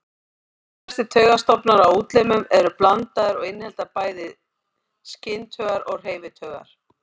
Flestir taugastofnar á útlimum eru blandaðir og innihalda bæði skyntaugar og hreyfitaugar.